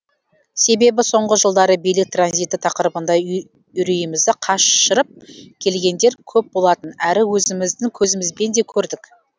себебі соңғы жылдары билік транзиті тақырыбында үрейімізді қашырып келгендер көп болатын әрі өзіміздің көзімізбен де көрдік